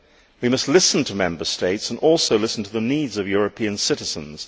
We must listen to Member States and listen to the needs of European citizens.